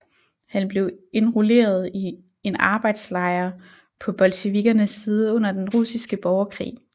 Han blev indrulleret i en arbejdslejr på bolsjevikkernes side under Den Russiske Borgerkrig